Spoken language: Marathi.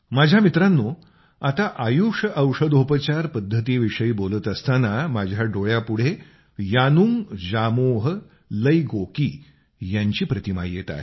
माझ्या मित्रांनो आत्ता आयुष औषधोपचार पद्धतीविषयी बोलत असताना माझ्या डोळ्यापुढे यानुंग जामोह लैगोकी यांची प्रतिमा येत आहे